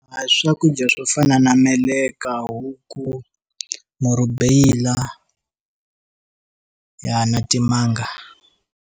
A swakudya swo fana na meleka, huku, murhubeyila, na timanga.